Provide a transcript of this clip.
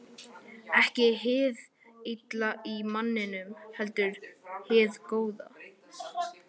Ekki hið illa í manninum, heldur hið góða.